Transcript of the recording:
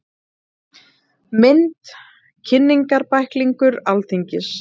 Mynd: Kynningarbæklingur Alþingis.